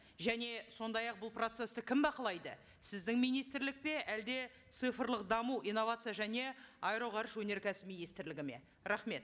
және сондай ақ бұл процессті кім бақылайды сіздің министрлік пе әлде цифрлық даму инновация және аэроғарыш өнеркәсіп министрлігі ме рахмет